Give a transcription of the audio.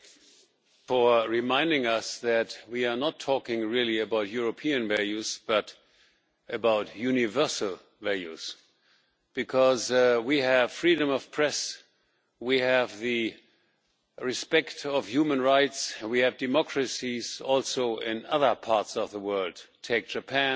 Thank you for reminding us that we are not talking really about European values, but about universal values we have freedom of the press, we have the respect of human rights, and we have democracies also in other parts of the world take Japan,